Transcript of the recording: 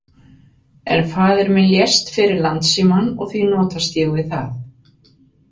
En faðir minn lést fyrir Landsímann og því notast ég við það.